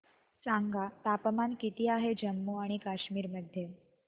सांगा तापमान किती आहे जम्मू आणि कश्मीर मध्ये